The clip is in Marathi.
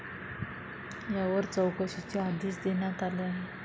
यावर चौकशीचे आदेश देण्यात आले आहे.